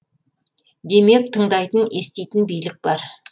демек тыңдайтын еститін билік бар